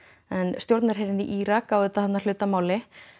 en stjórnarherinn í Írak á auðvitað hluta að máli